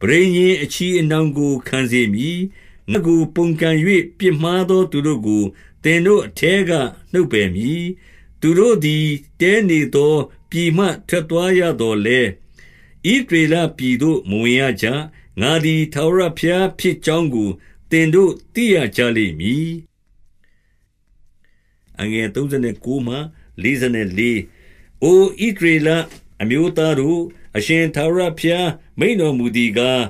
ပဋိညာဉ် အချည်အနှောင်ကိုခံစေမည်။ 38 ငါ့ကိုပုန်ကန်၍ ပြစ်မှာသောသူတို့ကို သင်တို့ ထဲက နှုတ်ပယ်မည်။ သူတို့သည် တည်းနေသောပြည်မှ ထွက်သွားရသော်လည်း၊ ဣသရေလပြည်သို့ မဝင်ကြရ။ ငါသည်ထာဝရဘုရားဖြစ်ကြောင်းကို သင်တို့သိရကြ လိမ့်မည်။ 39 အိုဣသရေလအမျိုးသားတို့၊ အရှင်ထာဝရ ဘုရား မိန့်တော်မူသည်ကား၊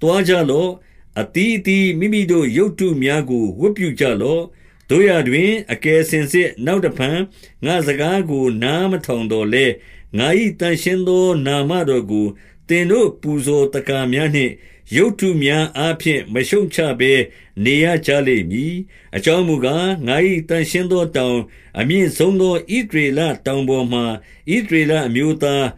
သွားကြလော့။ အသီး အသီးမိမိတို့ ရုပ်တုမျာကို ဝတ်ပြုကြလော့။ သို့ရာတွင် အကယ်စင်စစ် နောက်တဖန်ငါ့စကားကို သော်လည်း၊ ငါ၏သန့်ရှင်းသောနာမတော်ကို သင်တို့ပူဇော်သက္ကာ များနှင့် ရုပ်တုများအားဖြင့် မရှုတ်ချဘဲနေရကြလိမ့်မည်။ 40 အကြောင်းမူကား၊ ငါ၏သန့်ရှင်းသောတောင်၊ အမြင့်ဆုံးသော ဣသရေလတောင်ပေါ်မှာ ဣသရေလ အမျိုးသား၊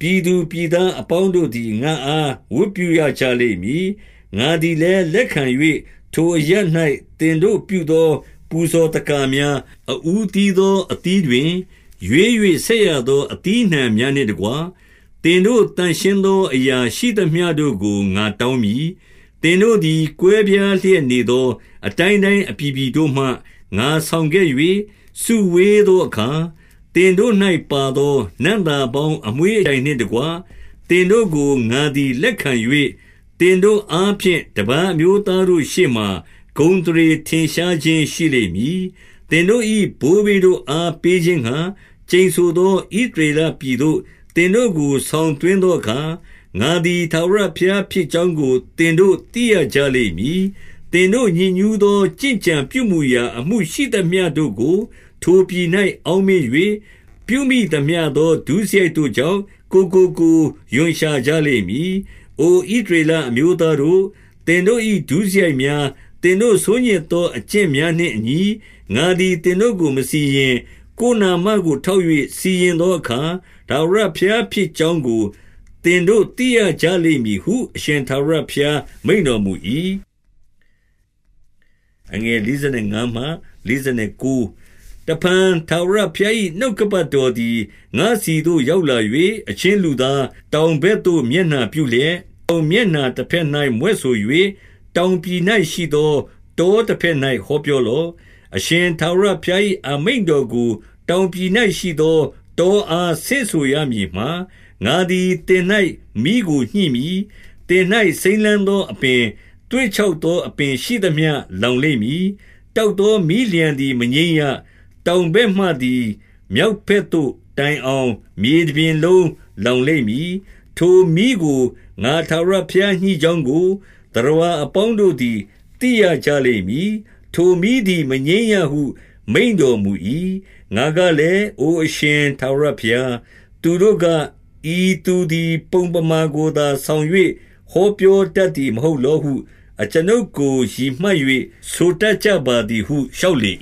ပြည်သူပြည်သားအပေါင်းတို့သည် ငါ့အား ဝတ်ပြုရကြလိမ့်မည်။ ငါသည်လည်း လက်ခံ၍၊ ထိုအရပ် ၌ သင်တို့ပြုသောပူဇော်သက္ကာများ၊ အဦးသီးသော အသီးတွင်ရွေး၍ဆက်ရသော အသီးအနှံများနှင့်တကွ၊ သင်တို့သန့်ရှင်းသော အရာရှိသမျှတို့ကို ငါတောင်းမည်။ 41 သင်တို့သည် ကွဲပြားလျက်နေသော အတိုင်း တိုင်းအပြည်ပြည်တို့မှ ငါဆောင်ခဲ့၍ စုဝေးသောအခါ၊ သင်တို့၌ပါသော နံ့သာပေါင်း အမွှေးအကြိုင်နှင့်တကွ၊ သင်တို့ကို ငါသည်လက်ခံ၍၊ သင်တို့အားဖြင့်တပါးအမျိုး သားတို့ရှေ့မှာ ဂုဏ်အသရေထင်ရှားခြင်း ရှိလိမ့်မည်။ 42 သင်တို့၏ ဘိုးဘေးတို့အားပေးခြင်းငှါ၊ ကျိန်ဆို သော ဣသရေလပြည်သို့ သင်တို့ကို ဆောင်သွင်းသော အခါ၊ ငါသည် ထာဝရဘုရားဖြစ်ကြောင်းကို သင်တို့ သိရကြလိမ့်မည်။ 43 သင်တို့ ညစ်ညူးသော ကျင့်ကြံပြုမူရာအမှု ရှိသမျှတို့ကို ထိုပြည်၌ အောက်မေ့၍၊ ပြုမိသမျှသော ဒုစရိုက်တို့ကြောင့် ကိုယ်ကိုကိုယ် ရွံရှာကြလိမ့်မည်။ 44 အိုဣသရေလအမျိုးသားတို့၊ သင်တို့၏ဒုစရိုက် များ၊ သင်တို့ ဆိုးညစ်သောအကျင့်များနှင့်အညီ၊ ငါသည် သင်တို့ကိုမစီရင်။ ကိုယ်နာမတော်ကိုထောက်၍ စီရင် သောအခါ ထာဝရဘုရားဖြစ်ကြောင်းကို သင်တို့သိကြ ရလိမ့်မည်ဟု အရှင်ထာဝရဘုရားမိန့်တော်မူ၏။ 45 တဖန်ထာဝရ ဘုရား၏ နှုတ်ကပတ်တော်သည် ငါ့ဆီသို့ ရောက်လာ၍၊ 46 အချင်းလူသား၊ တောင်ဘက်သို့ မျက်နှာ ပြုလျက်၊ တောင်မျက်နှာတဘက်၌မြွက်ဆို၍၊ တောင်ပြည် ၌ရှိသော တောတဘက်၌ဟောပြောလော့။ 47 အရှင်ထာဝရဘုရား၏ အမိန့်တော်ကို တောင် ပြည်၌ရှိသော တောအားဆင့်ဆိုရမည်မှာ၊ ငါသည် သင်၌ မီးကိုညှိမည်။ သင်၌ စိမ်းလန်းသောအပင်၊ သွေ့ခြောက် သောအပင်ရှိသမျှ လောင်လိမ့်မည်။ တောက်သော မီးလျှံသည်မငြိမ်းရ။ တောင်ဘက်မှသည် မြောက်ဘက်သို့ တိုင်အောင် မြေတပြင်လုံးလောင်လိမ့်မည်။ 48 ထိုမီးကို ငါထာဝရဘုရားညှိကြောင်းကို၊ သတ္တဝါ အပေါင်းတို့သည် သိရကြလိမ့်မည်။ ထိုမီးသည် မငြိမ်းရဟု မိန့်တော်မူ၏။ 49 ငါကလည်း၊ အိုအရှင်ထာဝရဘုရား၊ သူတို့က၊ ဤသူသည်ပုံပမာ ကိုသာဆောင်၍ ဟောပြောတတ်သည် မဟုတ်လောဟု၊ အကျွန်ုပ်ကို ရည်မှတ်၍ဆိုတတ်ကြပါ သည်ဟု လျှောက်လေ